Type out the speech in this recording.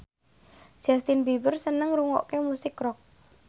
Justin Beiber seneng ngrungokne musik rock